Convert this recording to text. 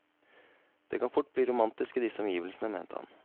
Det kan fort bli romantisk i disse omgivelsene, mente han.